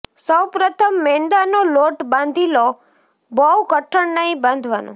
સૌપ્રથમ મેંદા નો લોટ બાંધી લો બઉ કઠણ નઈ બાંધવા નો